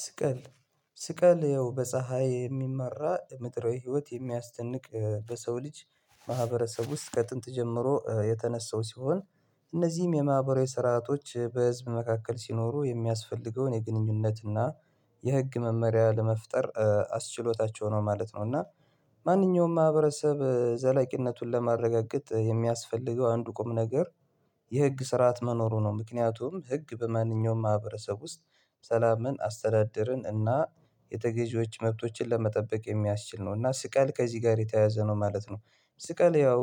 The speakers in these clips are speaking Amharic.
ስቀል ስቀል ያው በፀሀይ የሚመራ ምድራዊ ህይወት የሚያስጨንቅ በሰው ልጅ ማህበረሰብ ውስጥ ከጥንት ጀምሮ የተነሳው ሲሆን እነዚህም የማህበራዊ ስርዓቶች በህዝብ መካከል ሲኖሩ የሚያስፈልገውን የግንኙነትና የሕግ መመሪያ ለመፍጠር አስችሎታቸው ነው ማለት ነው። እና ማንኛውም ማህበረሰብ ዘላቂነቱን ለማረጋገጥ የሚያስፈልገው አንዱ ቁም ነገር የሕግ ስርዓት መኖሩ ነው። ምክንያቱም ህግ በማንኛውም ማህበረሰብ ውስጥ ሰላምን አስተዳደርን እና የተገዢዎች መብቶችን ለመጠበቅ የሚያስችል ነው እና ስቀል ከዚህ ጋር የተያዘ ነው ማለት ነው። ስቀል ያው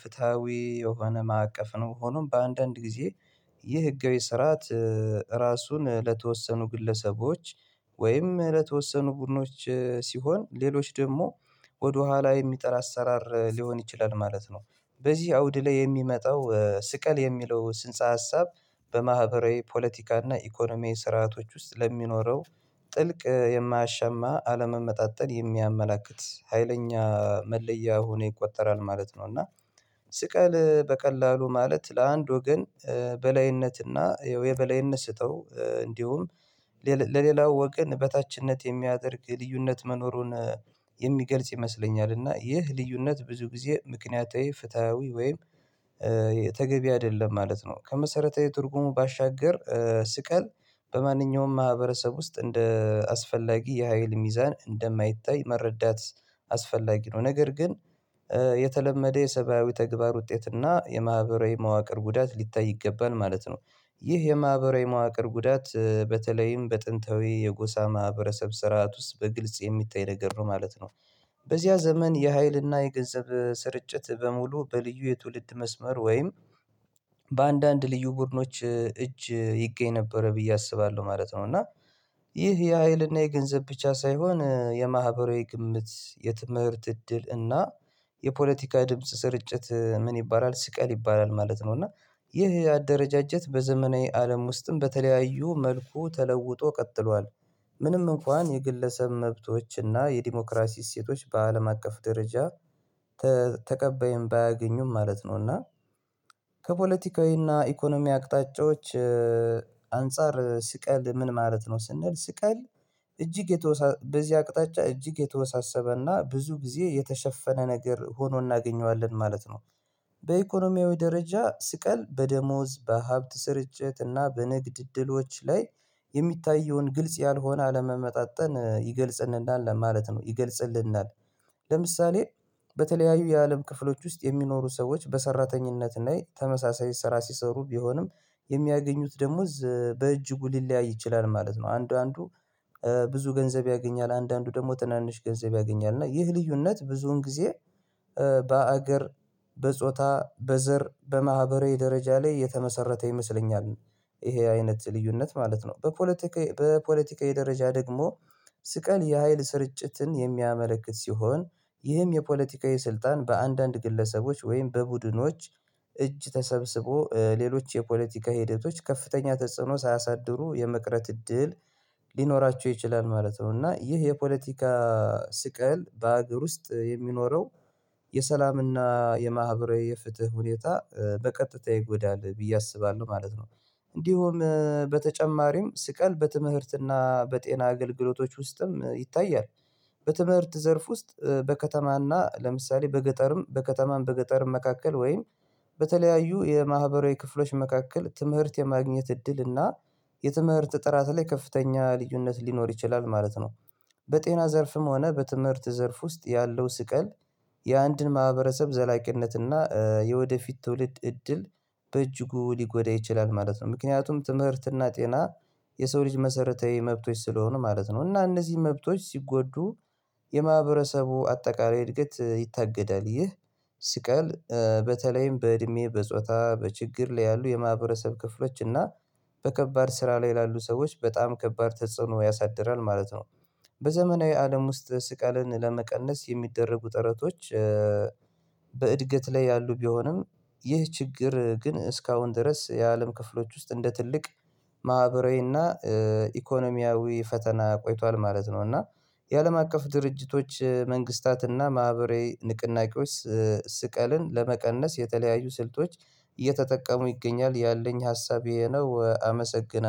ፍትሃዊ የሆነ ማዕቀፍ ነው። ሆኖም በአንዳንድ ጊዜ ይህ ህጋዊ ስርዓት ራሱን ለተወሰኑ ግለሰቦች ወይም ለተወሰኑ ቡድኖች ሲሆን ሌሎች ደግሞ ወደኋላ የሚጠራ አሰራር ሊሆን ይችላል ማለት ነው። በዚህ አውድ ላይ የሚመጣው ስቀል የሚለው ስንጻ ሀሳብ በማህበራዊ ፖለቲካና ኢኮኖሚያዊ ስርዓቶች ውስጥ ለሚኖረው ጥልቅ የማያሻማ አለመመጣጠን የሚያመላክት ሀይለኛ መለያ ሆኖ ይቆጠራል ማለት ነው። እና ስቀል በቀላሉ ማለት ለአንድ ወገን በላይነትና የበላይነት ስጠው እንዲሁም ለሌላው ወገን በታችነት የሚያደርግ ልዩነት መኖሩን የሚገልጽ ይመስለኛል እና ይህ ልዩነት ብዙ ጊዜ ምክንያታዊ ፍትሃዊ ወይም ተገቢ አይደለም ማለት ነው። ከመሰረታዊ ትርጉሙ ባሻገር ስቀል በማንኛውም ማህበረሰብ ውስጥ እንደ አስፈላጊ የሀይል ሚዛን እንደማይታይ መረዳት አስፈላጊ ነው። ነገር ግን የተለመደ የሰብአዊ ተግባር ውጤት እና የማህበራዊ መዋቅር ጉዳት ሊታይ ይገባል ማለት ነው ይህ የማህበራዊ መዋቅር ጉዳት በተለይም በጥንታዊ የጎሳ ማህበረሰብ ስርዓት ውስጥ በግልጽ የሚታይ ነገር ነው ማለት ነው። በዚያ ዘመን የሀይልና የገንዘብ ስርጭት በሙሉ በልዩ የትውልድ መስመር ወይም በአንዳንድ ልዩ ቡድኖች እጅ ይገኝ ነበረ ብዬ አስባለሁ ማለት ነው። እና ይህ የሃይልና የገንዘብ ብቻ ሳይሆን የማህበራዊ ግምት የትምህርት እድል እና የፖለቲካ ድምጽ ስርጭት ምን ይባላል ስቀል ይባላል ማለት ነው። እና ይህ አደረጃጀት በዘመናዊ አለም ውስጥም በተለያዩ መልኩ ተለውጦ ቀጥሏል ምንም እንኳን የግለሰብ መብቶችና የዲሞክራሲ እሴቶች በአለም አቀፍ ደረጃ ተቀባይም ባያገኙም ማለት ነው። እና ከፖለቲካዊና ኢኮኖሚ አቅጣጫዎች አንፃር ስቀል ምን ማለት ነው? ስንል ስቀል እጅግ የተወሳሰ በዚህ አቅጣጫ እጅግ የተወሳሰበና ብዙ ጊዜ የተሸፈነ ነገር ሆኖ እናገኘዋለን ማለት ነው። በኢኮኖሚያዊ ደረጃ ስቀል በደሞዝ በሀብት ስርጭት እና በንግድ እድሎች ላይ የሚታየውን ግልጽ ያልሆነ አለመመጣጠን ይገልጽልናል ማለት ነው። ይገልጽልናል ለምሳሌ በተለያዩ የአለም ክፍሎች ውስጥ የሚኖሩ ሰዎች በሰራተኝነት ላይ ተመሳሳይ ስራ ሲሰሩ ቢሆንም የሚያገኙት ደሞዝ በእጅጉ ሊለያይ ይችላል ማለት ነው። አንዱ አንዱ ብዙ ገንዘብ ያገኛል አንዱ ደግሞ ትናንሽ ገንዘብ ያገኛል እና ይህ ልዩነት ብዙውን ጊዜ በአገር በጾታ በዘር በማህበራዊ ደረጃ ላይ የተመሰረተ ይመስለኛል። ይሄ አይነት ልዩነት ማለት ነው በፖለቲካ በፖለቲካዊ ደረጃ ደግሞ ስቀል የሀይል ስርጭትን የሚያመለክት ሲሆን ይህም የፖለቲካዊ ስልጣን በአንዳንድ ግለሰቦች ወይም በቡድኖች እጅ ተሰብስቦ ሌሎች የፖለቲካ ሂደቶች ከፍተኛ ተጽዕኖ ሳያሳድሩ የመቅረት እድል ሊኖራቸው ይችላል ማለት ነው። እና ይህ የፖለቲካ ስቀል በሀገር ውስጥ የሚኖረው የሰላምና የማህበራዊ የፍትህ ሁኔታ በቀጥታ ይጎዳል ብዬ አስባለሁ ማለት ነው። እንዲሁም በተጨማሪም ስቀል በትምህርትና በጤና አገልግሎቶች ውስጥም ይታያል። በትምህርት ዘርፍ ውስጥ በከተማና ለምሳሌ በገጠርም በከተማም በገጠርም መካከል ወይም በተለያዩ የማህበራዊ ክፍሎች መካከል ትምህርት የማግኘት እድል እና የትምህርት ጥራት ላይ ከፍተኛ ልዩነት ሊኖር ይችላል ማለት ነው። በጤና ዘርፍም ሆነ በትምህርት ዘርፍ ውስጥ ያለው ስቀል የአንድን ማህበረሰብ ዘላቂነትና የወደፊት ትውልድ እድል በእጅጉ ሊጎዳ ይችላል ማለት ነው። ምክንያቱም ትምህርትና ጤና የሰው ልጅ መሰረታዊ መብቶች ስለሆኑ ማለት ነው። እና እነዚህ መብቶች ሲጎዱ የማህበረሰቡ አጠቃላይ እድገት ይታገዳል ይህ ስቀል በተለይም በእድሜ በጾታ በችግር ላይ ያሉ የማህበረሰብ ክፍሎች እና በከባድ ስራ ላይ ያሉ ሰዎች በጣም ከባድ ተጽዕኖ ያሳድራል ማለት ነው። በዘመናዊ አለም ውስጥ ስቀልን ለመቀነስ የሚደረጉ ጥረቶች በእድገት ላይ ያሉ ቢሆንም ይህ ችግር ግን እስካሁን ድረስ የአለም ክፍሎች ውስጥ እንደ ትልቅ ማህበራዊና ኢኮኖሚያዊ ፈተና ቆይቷል ማለት ነው። እና የአለም አቀፍ ድርጅቶች መንግስታትና ማህበራዊ ንቅናቄዎች ስቀልን ለመቀነስ የተለያዩ ስልቶች እየተጠቀሙ ይገኛል ያለኝ ሀሳቤ ነው። አመሰግናለሁ